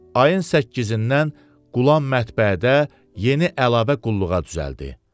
Ayın 8-dən qulam mətbəədə yeni əlavə qulluğa düzəldi.